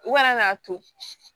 U kana n'a to